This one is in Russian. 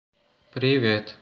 привет